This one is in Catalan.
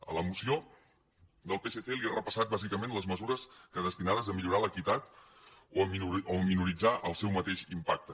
a la moció del psc li he repassat bàsicament les mesures destinades a millorar l’equitat o a minoritzar el seu mateix impacte